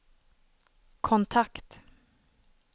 kontakt